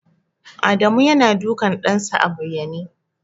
Adamu yana dukan ɗansa a bayyane.